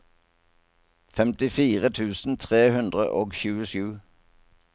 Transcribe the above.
femtifire tusen tre hundre og tjuesju